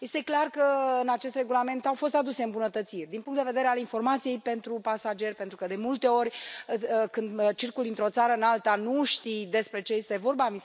Este clar că în acest regulament au fost aduse îmbunătățiri din punct de vedere al informației pentru pasageri, pentru că, de multe ori, când circuli dintr o țară în alta, nu știi despre ce este vorba.